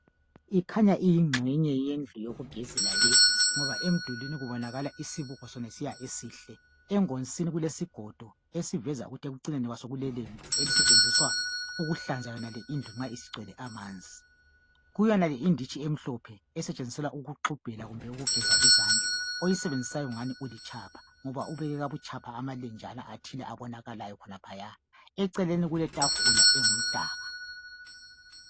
ikhanya iyinxenye yendlu yokugezela le ngoba kubonakala isibuko sonalesiya esihle engonsini kulesigodo esiveza ukuthi ekucineni kulelembu elisetshenziswa ukuhlanza yonale indlu ma isigcwele amanzi kuyonale inditshi emhlophe esetshenziselwa ukugxubhela kumbe ukugeza izandla oyisebenzisayo kungani ulutshapha ngoba ubeke ngobutshapha amalenjana athile abonakalayo laphaya eceleni kule tafula engumdaka